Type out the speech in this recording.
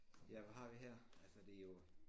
Ja hvad har vi her altså det jo